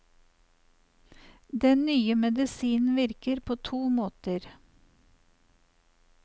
Den nye medisinen virker på to måter.